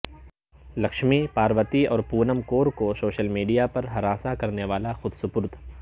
لکشمی پاروتی اور پونم کور کو social media پر ہراساں کرنے والا خودسپرد